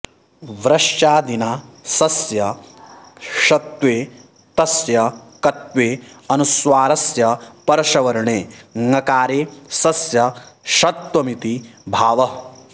व्रश्चादिना शस्य षत्वे तस्य कत्वे अनुस्वारस्य परसवर्णे ङकारे सस्य षत्वमिति भावः